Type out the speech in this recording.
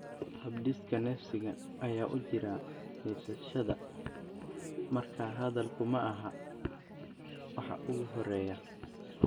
habdhiska neefsiga ayaa u jira neefsashada, markaa hadalku maaha waxa ugu horreeya.